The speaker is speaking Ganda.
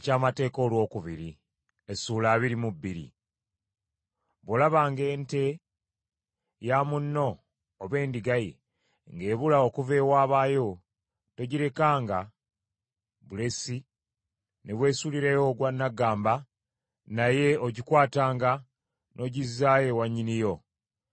Bw’olabanga ente ya munno, oba endiga ye, ng’ebula okuva ewaabayo, togirekanga bulesi ne weesuulirayo ogwa nnaggamba naye ogikwatanga n’ogizzaayo ewa nnyiniyo.